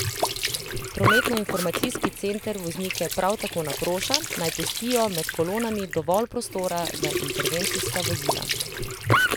Prometnoinformacijski center voznike prav tako naproša, naj pustijo med kolonami dovolj prostora za intervencijska vozila.